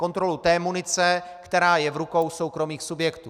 Kontrolu té munice, která je v rukou soukromých subjektů.